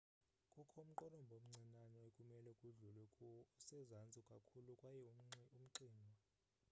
kukho umqolomba omncinane ekumele kudlulwe kuwo usezantsi kakhulu kwaye umxinwa